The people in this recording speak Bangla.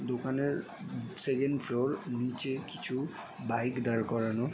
দোকানের সেকেন্ড ফ্লোর । নিচে কিছু বাইক দাঁড় করানো।